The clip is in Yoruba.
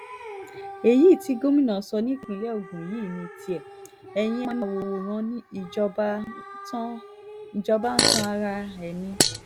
èyí tí gómìnà sọ nípìnlẹ̀ ogun yìí ní tiẹ̀ eyín ẹ̀ máa wòran ìjọba ń tan ara ẹ̀ ni